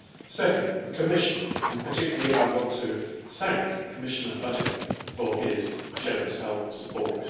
Secondly, the Commission, and I particularly want to thank Commissioner Oettinger for his generous help and support.